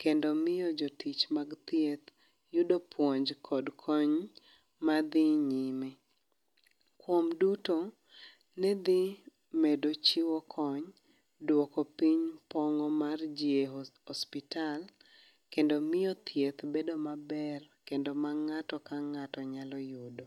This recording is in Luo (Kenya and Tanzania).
kendo miyo jotich mag thieth, yudo puonj kod kony madhi nyime. Kuom duto ne dhi medo chiwo kony, duoko piny pong mar ji a osiptal, kendo miyo thieth bedo maber, kendo ma ngáto ka ngáto nyalo yudo.